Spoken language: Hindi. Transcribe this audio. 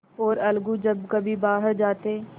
और अलगू जब कभी बाहर जाते